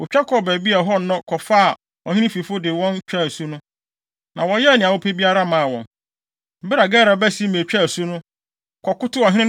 Wotwa kɔɔ baabi a ɛhɔ nnɔ kɔfaa ɔhene fifo no de wɔn twaa asu no, na wɔyɛɛ nea wɔpɛ biara maa wɔn. Bere a Gera ba Simei twaa asu no, kɔkotow ɔhene no,